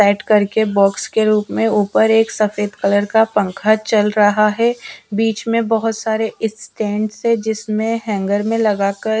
करके बॉक्स के रूप में ऊपर एक सफेद कलर का पंखा चल रहा है बीच में बहुत सारे स्टैंड्स हैं जिसमें हैंगर मैं लगाकर--